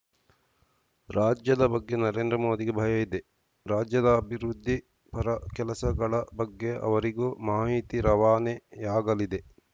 ರಾಜ್ಯದ ಬಗ್ಗೆ ನರೇಂದ್ರ ಮೋದಿಗೆ ಭಯ ಇದೆ ರಾಜ್ಯದ ಅಭಿವೃದ್ಧಿ ಪರ ಕೆಲಸಗಳ ಬಗ್ಗೆ ಅವರಿಗೂ ಮಾಹಿತಿ ರವಾನೆಯಾಗಲಿದೆ